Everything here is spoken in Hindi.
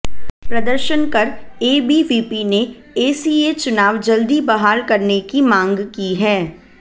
प्रदर्शन कर एबीवीपी ने एसीए चुनाव जल्दी बहाल करने की मांग की है